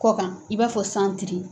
Kɔ kan i b'a fɔ san tiri.